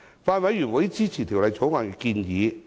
法案委員會支持《條例草案》的建議。